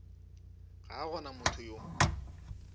ga a gona motho yo